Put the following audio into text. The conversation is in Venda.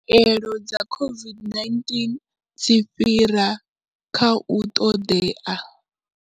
Khaelo dza COVID-19 dzi fhira kha u ṱoḓea.